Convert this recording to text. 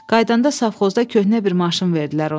Qaydanda safxozda köhnə bir maşın verdilər ona.